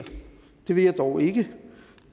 vil jeg dog ikke